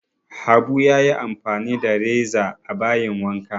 Abu ya yi amfani da reza a bayin wanka